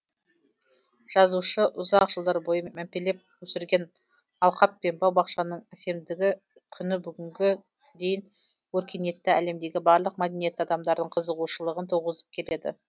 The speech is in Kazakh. жазушы ұзақ жылдар бойы мәпелеп өсірген алқап пен бау бақшаның әсемдігі күні бүгінге дейін өркениетті әлемдегі барлық мәдениетті адамдардың қызығушылығын туғызып келеді